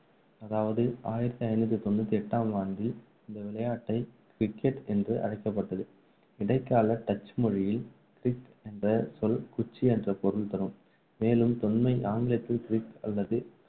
அதாவது ஆயிரத்து ஐநூற்று தொண்ணூற்று எட்டாம் ஆண்டில் இந்த விளையாட்டை wicket என்று அழைக்கப்பட்டது இடைக்கால டச் மொழியில் wick என்ற சொல் குச்சி என்று பொருள்தரும் மேலும் தொன்மை ஆங்கிலத்தில் கிரிக் அல்லது